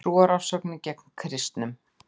Trúarofsóknir gegn kristnum